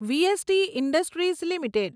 VST industries limited